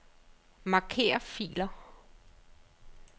Marker filer.